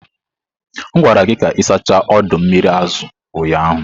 M gwara gị ka ị sachaa ọdọ mmiri azụ ụnyahụ!